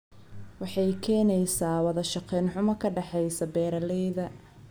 Waxay keenaysaa wada shaqayn xumo ka dhaxaysa beeralayda.